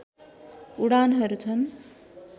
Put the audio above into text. उडानहरू छन्